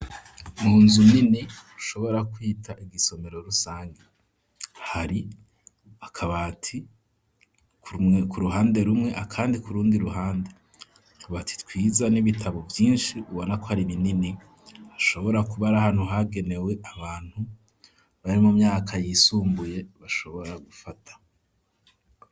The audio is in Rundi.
Munzu nini ushobora kwita igisomero rusangi, hari akabati ku ruhande rumwe, akandi kurundi ruhande ,akabati twiza n'ibitabo vyinshi ,ubona ko hari binini ashobora kubari hantu hagenewe abantu bari mu myaka yisumbuye ,bashobora gufata.